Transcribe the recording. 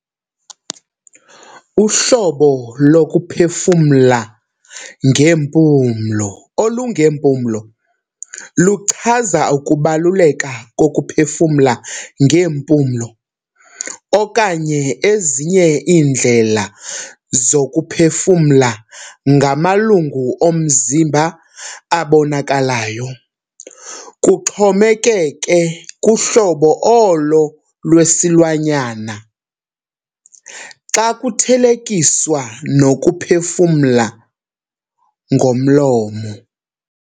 Uhlobo lokuphefumla ngeempumlo olungeempumlo luchaza ukubaluleka kokuphefumla ngeempumlo, okanye ezinye iindlela zokuphefumla ngamalungu omzimba abonakalyo, kuxhomekeke kuhlobo olo lwesinlwanyana, xa kuthelekiswa nokuphefumla ngomlomo.